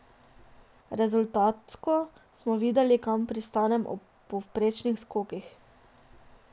Rezultatsko smo videli, kam pristanem ob povprečnih skokih.